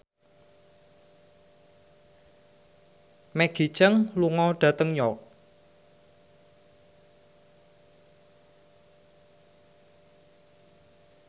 Maggie Cheung lunga dhateng York